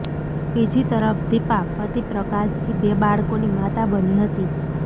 બીજી તરફ દિપા પતિ પ્રકાશથી બે બાળકોની માતા બની હતી